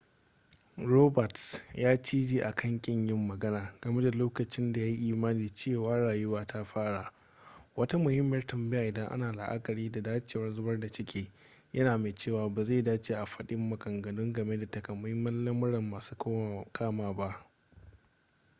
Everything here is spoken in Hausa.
roberts ya cije akan kin yin magana game da lokacin da ya yi imanin cewa rayuwa ta fara wata muhimmiyar tambaya idan ana la'akari da dacewar zubar da ciki yana mai cewa ba zai dace a faɗi maganganu game da takamaiman lamurra masu kama ba